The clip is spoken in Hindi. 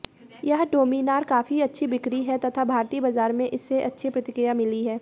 यह डोमिनार काफी अच्छी बिक्री है तथा भारतीय बाजार में इसे अच्छी प्रतिक्रिया मिली है